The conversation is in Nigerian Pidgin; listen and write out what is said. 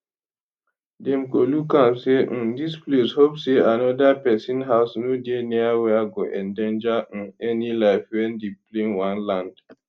dem go look am say um dis place hope say anoda pesin house no dey near where go endanger um any life wen di plane wan land